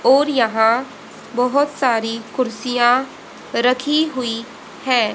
और यहां बहोत सारी कुर्सियां रखी हुई हैं।